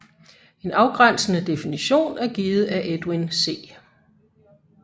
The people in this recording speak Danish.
En afgrænsende definition er givet af Edwin C